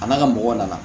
A n'a ka mɔgɔw nana